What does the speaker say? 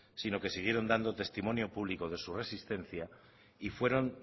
sino que siguieron dando testimonio público de su resistencia y fueron